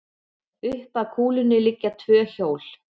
Upp að kúlunni liggja tvö hjól.